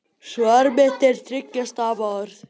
Svar mitt er þriggja stafa orð